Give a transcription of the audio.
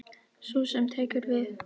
Sú sem tekur við.